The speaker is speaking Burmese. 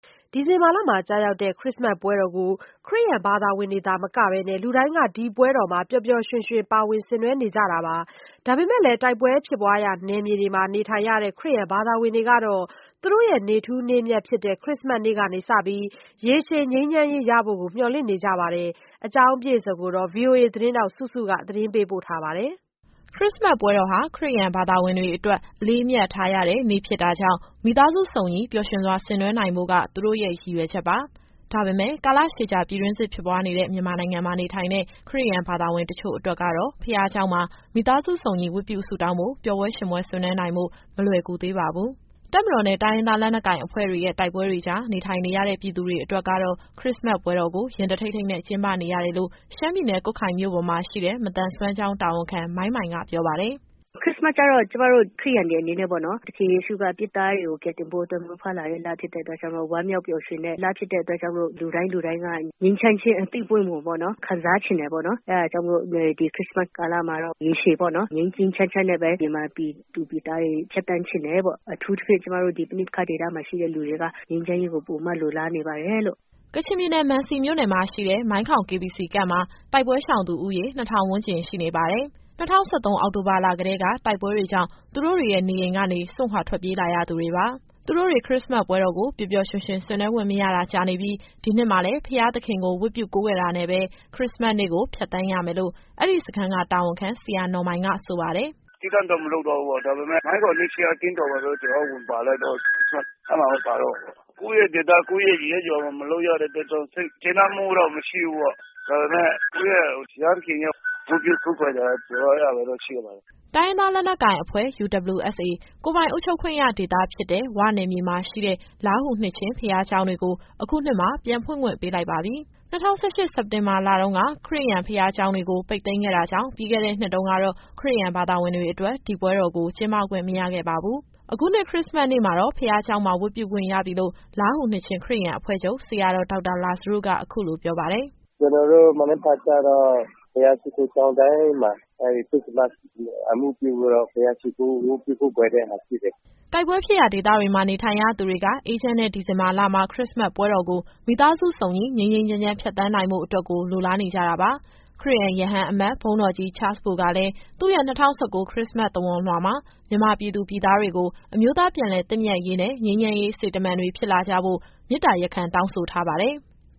ဒီဇင်ဘာလမှာ ကျရောက်တဲ့ ခရစ္စမတ်ပွဲတော်ကို ခရစ်ယာန်ဘာသာဝင်တွေ သာမကပဲ လူတိုင်းကဒီပွဲတော်မှာ ပျော်ပျော်ရွှင်ရွှင် ပါဝင်ဆင်နွှဲနေကြတာပါ။ ဒါပေမဲ့ တိုက်ပွဲဖြစ်ပွားရာ နယ်မြေတွေမှာ နေထိုင်ရတဲ့ ခရစ်ယာန်ဘာသာဝင်တွေကတော့ သူတို့ရဲ့ နေ့ထူးနေ့မြတ်ဖြစ်တဲ့ ခရစ္စမတ်နေ့ကစပြီး ရေရှည်ငြိမ်းချမ်းရေး ရဖို့ကို မျှော်လင့်နေကြပါတယ်။ ဒီအကြောင်းအပြည့်အစုံကို ဗွီအိုအေသတင်းထောက် စုစုက မေးမြန်းပေးပို့ထားပါတယ်။ ခရစ္စမတ်ပွဲတော်ဟာ ခရစ်ယာန် ဘာသာဝင်တွေအတွက် အလေးအမြတ်ထားရတဲ့နေ့ ဖြစ်တာကြောင့် မိသားစုစုံညီ ပျော်ရွှင်စွာ ဆင်နွှဲနိုင်ဖို့က သူတို့ရဲ့ရည်ရွယ်ချက်ပါ။ ဒါပေမဲ့ ကာလရှည်ကြာ ပြည်တွင်းစစ် ဖြစ်ပွားနေတဲ့ မြန်မာနိုင်ငံမှာ နေထိုင်တဲ့ ခရစ်ယာန်ဘာသာဝင် တချို့အတွက်ကတော့ ဘုရားကျောင်းမှာ မိသားစု စုံညီဝတ်ပြု ဆုတောင်းဖို့ ပျော်ပွဲရွှင်ပွဲဆင်နွှဲနိုင်ဖို့က မလွယ်ကူသေးပါဘူး။ တပ်မတော်နဲ့ တိုင်းရင်းသား လက်နက်ကိုင်အဖွဲ့တွေရဲ့ တိုက်ပွဲတွေကြား နေထိုင်နေရတဲ့ ပြည်သူတွေအတွက်ကတော့ ခရစ္စမတ်ပွဲတော်ကို ရင်တထိတ်ထိတ်နဲ့ ကျင်းပနေရတယ်လို့ ရှမ်းပြည်နယ် ကွတ်ခိုင်မြို့ပေါ်မှာ ရှိတဲ့ မသန်စွမ်းကျောင်း တာဝန်ခံ မိုင်းမိုင်က ပြောပါတယ်။ “ခရစ္စမတ်ကျတော့ ကျမတို့ ခရစ်ယာန်တွေ အနေနဲ့ပေါ့နော် သခင်ယေရှုက အပြစ်သားတွေကို ကယ်တင်ဖို့အတွက် မွေးဖွားလာတဲ့လ ဖြစ်တဲ့အတွက် ဝမ်းမြောက်ပျော်ရွှင်တဲ့လ ဖြစ်လို့ လူတိုင်းလူတိုင်းက ငြိမ်းချမ်းခြင်း အသီးအပွင့်ကို ခံစားချင်တယ်ပေါ့နော်။ အဲဒါကြောင့်မို့လို့ ဒီခရစ္စမတ်ကာလမှာတော့ ရေရှည်ပေါ့နော် ငြိမ်းငြိမ်းချမ်းချမ်းနဲ့ပဲ မြန်မာပြည်သူ ပြည်သားတွေ ဖြတ်သန်းချင်တယ်ပေါ့။ အထူးသဖြင့် ကျမတို့ ပဋိပက္ခဒေသမှာရှိတဲ့လူတွေက ငြိမ်းချမ်းရေးကို ပိုပြီးလိုလားနေပါတယ်လို့။” ကချင်ပြည်နယ် မံစီမြို့နယ်မှာရှိတဲ့ မိုင်းခေါင် KBC Camp မှာ တိုက်ပွဲရှောင်သူဦးရေ ၂,၀၀၀ ဝန်းကျင်ရှိနေပါတယ်။ ၂၀၁၃ အောက်တိုဘာလကတည်းက တိုက်ပွဲတွေကြောင့် သူတို့တွေရဲ့နေအိမ်ကနေ စွန့်ခွာထွက်ပြေးလာရသူတွေပါ။ သူတို့တွေ ခရစ္စမတ်ပွဲတော်ကို ပျော်ပျော်ရွှင်ရွှင် ဆင်နွှဲခွင့်မရတာ ကြာနေပြီး ဒီနှစ်မှာလည်း ဘုရားသခင်ကို ဝတ်ပြုကိုးကွယ်တာနဲ့ပဲ ခရစ္စမတ်နေ့ကို ဖြတ်သန်းရမယ်လို့ အဲဒီစခန်းက တာဝန်ခံ ဆရာနော်မိုင်က ဆိုပါတယ်။ “သီးသန့်တော့ မလုပ်သွားဘူးပေါ့။ ဒါပေမဲ့ မိုင်းခေါင်နှစ်ခြင်းက အသင်းတော်မှာ ကျတော်တို့ဝင်ပါလိုက်တော့ အဲမှာပဲ ပါတော့မှာပေါ့။ ကိုယ့်ရဲ့ဒေသ ကိုယ့်ရဲ့ရပ်ရွာမှာ မလုပ်ရတဲ့အတွက် စိတ်ကျေနပ်မှုတော့ မရှိဘူးပေါ့။ ဒါပေမဲ့ ကိုယ့်ရဲ့ဘုရားသခင်ကို ဝတ်ပြုကိုးကွယ်တာ အဲဒါပ ဲရှိပါတယ်။” တိုင်းရင်းသား လက်နက်ကိုင်အဖွဲ့ UWSA ကိုယ်ပိုင်အုပ်ချုပ်ခွင့်ရ ဒေသဖြစ်တဲ့ ဝ နယ်မြေမှာရှိတဲ့ လားဟူနှစ်ခြင်း ဘုရားကျောင်းတွေကို အခုနှစ်မှာ ပြန်ဖွင့်ခွင့်ပေးလိုက်ပါပြီ။ ၂၀၁၈ စက်တင်ဘာလတုန်းက ခရစ်ယာန် ဘုရားရှိခိုးကျောင်းတွေကို ပိတ်သိမ်းခဲ့တာကြောင့် ပြီးခဲ့တဲ့နှစ်တုန်းကတော့ ခရစ်ယာန်ဘာသာဝင်တွေအတွက် ဒီပွဲတော်ကို ကျင်းပခွင့် မရခဲ့ပါဘူး။ အခုနှစ် ခရစ္စမတ်နေ့မှာတော့ ဘုရားကျောင်းမှာ ဝတ်ပြုခွင့်ရပြီလို့ လားဟူနှစ်ခြင်း ခရစ်ယာန်အဖွဲ့ချုပ် ဆရာတော် ဒေါက်တာလာဇရုက အခုလိုပြောပါတယ်။ “ကျနော်တို့ မနက်ဖြန် (ခရစ္စမတ်နေ့)ကျတော့ ဘုရားရှိခိုးကျောင်းတိုင်းမှာ အဲဒီခရစ္စမတ် အမှုပြုပြီးတော့ ဘုရားရှိခိုး ဝတ်ပြုကိုးကွယ်တဲ့ဟာ ရှိတယ်။” တိုက်ပွဲဖြစ်ရာဒေသတွေမှာ နေထိုင်ရသူတွေက အေးချမ်းတဲ့ ဒီဇင်ဘာလမှာ ခရစ္စမတ်ပွဲတော်ကို မိသားစုစုံညီ ငြိမ်းငြိမ်းချမ်းချမ်း ဖြတ်သန်းနိုင်ဖို့အတွက်ကို လိုလားနေကြတာပါ။ ခရစ်ယာန် ရဟန်းအမတ် ဘုန်းတော်ကြီး Charles Bo ကလည်း သူ့ရဲ့ ၂၀၁၉ ခရစ္စမတ် သဝဏ်လွှာမှာ မြန်မာပြည်သူ၊ ပြည်သားတွေကို အမျိုးသား ပြန်လည်သင့်မြတ်ရေးနဲ့ ငြိမ်းချမ်းရေးစေတမန်တွေ ဖြစ်လာကြဖို့ မေတ္တာရပ်ခံ တောင်းဆိုထားပါတယ်။